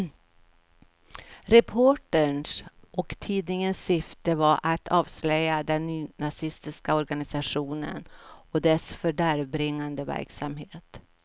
Reporterns och tidningens syfte var att avslöja den nynazistiska organisationen och dess fördärvbringande verksamhet.